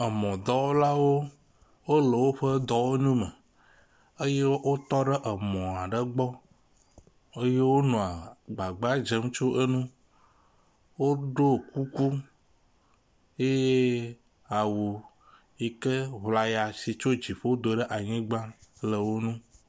Emɔdɔwɔlawo wo le woƒe dɔwɔnu me eye wptɔ ɖe emɔ aɖe gbɔ eye wonɔ gbagbadzem tso enu. Woɖo kuku ye awu yi ke ŋlaya si tso dziƒo do ɖe anyigba le wo nu.